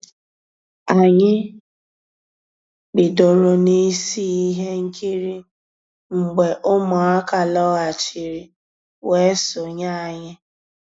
Ànyị́ bidoro n'ísí i íhé nkírí mgbé Ụmụ́àká lọ́ghàchíré weé sonyéé ànyị́.